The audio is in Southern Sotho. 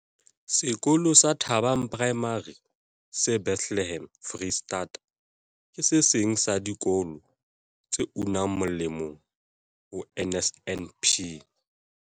Sekolo sa Thabang Primary se Bethlehem, Freistata, ke se seng sa dikolo tse unang moleng ho NSNP.